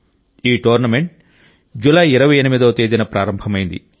ఈ టోర్నమెంటు జులై 28వ తేదీన ప్రారంభమైంది